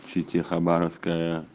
щете хабаровская